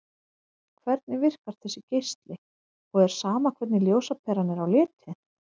Hvernig virkar þessi geisli og er sama hvernig ljósaperan er á litinn?